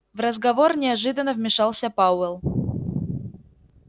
в разговор неожиданно вмешался пауэлл